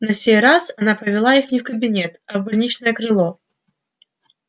на сей раз она повела их не в кабинет а в больничное крыло